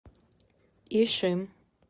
ишим